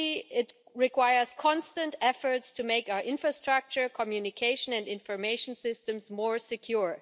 It requires constant efforts to make our infrastructure, communication and information systems more secure.